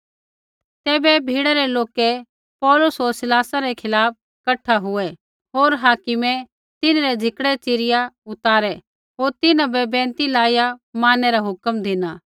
तैबै भीड़ै लोका पौलुस होर सिलासा रै खिलाफ़ कठा हुऐ होर हाकिमै तिन्हरै झिकड़ै च़िरिया उतारै होर तिन्हां बै बैंइतै लाइया मारनै रा हुक्म केरू